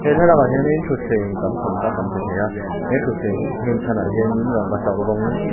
he thlalak ah hianin thutthleng tam tham tak kan hmu thei a he thutthleng nghen chhan ah hianin rangkachak rawng--